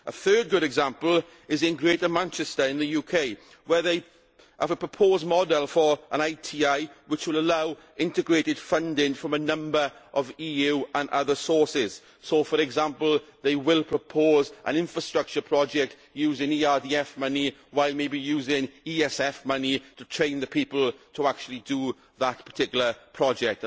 A third good example is in Greater Manchester in the UK where they have a proposed model for an ITI which will allow integrated funding from a number of EU and other sources, so, for example, they will propose an infrastructure project using ERDF money, while maybe using ESF money to train the people to actually carry out that particular project.